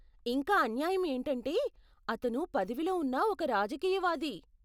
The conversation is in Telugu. ఇంకా అన్యాయం ఏంటంటే, అతను పదవిలో ఉన్న ఒక రాజకీయవాది.